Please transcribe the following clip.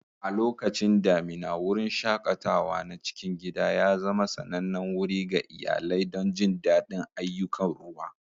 A lokacin damina, wurin shaƙatawa na cikin gida ya zama sanannen wuri ga iyalai don jin daɗin ayyukan ruwa.